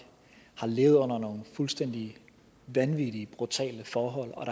har levet under nogle fuldstændig vanvittige brutale forhold og